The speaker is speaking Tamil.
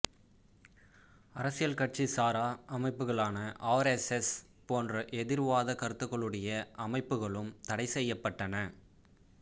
அரசியல் கட்சி சார அமைப்புகளான ஆர் எஸ் எஸ் போன்ற எதிர் வாத கருத்துக்களுடைய அமைப்புகளும் தடை செய்யபட்டன